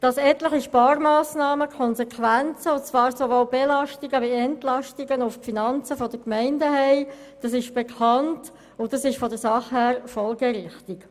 Dass etliche Sparmassnahmen sowohl Belastungen wie auch Entlastungen für die Gemeinden zur Folge haben, ist bekannt und von der Sache her folgerichtig.